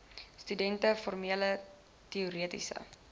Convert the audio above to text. studente formele teoretiese